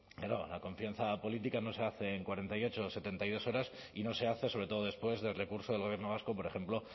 la confianza política no se hace en cuarenta y ocho o setenta y dos horas y no se hace sobre todo después del recurso del gobierno vasco por ejemplo